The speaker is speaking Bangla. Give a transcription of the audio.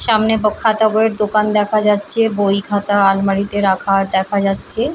সামনে ব খাতা বইয়ের দোকান দেখা যাচ্ছে। বই খাতা আলমারিতে রাখা দেখা যাচ্ছে।